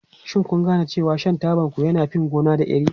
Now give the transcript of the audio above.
Shin kun gane cewa shan tabanku yana fin gona da iri?